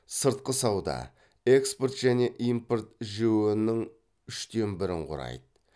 сыртқы сауда экспорт және импорт жіө нің үштен бірін құрайды